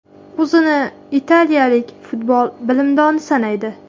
U o‘zini italiyalik futbol bilimdoni sanaydi.